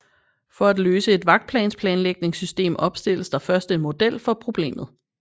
For at løse et vagtplanlægningssystem opstilles der først en model for problemet